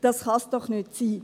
Das kann es doch nicht sein!